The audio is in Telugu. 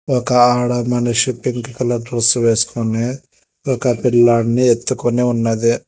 ఒక ఆడ మనిషి పింక్ కలర్ డ్రెస్ వేసుకొని ఒక పిల్లాడ్ని ఎత్తుకొని ఉన్నది.